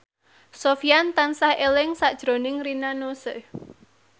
Sofyan tansah eling sakjroning Rina Nose